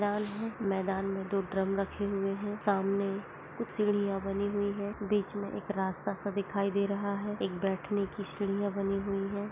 मैदान है मैदान में दो ड्रम रखे हुवे है सामने कुछ सीडिया बनी हुयी है बिच में एक रास्ता सा दिखाई दे रहा है एक बैठने की सीडिया बनी हुयी है।